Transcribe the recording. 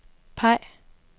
peg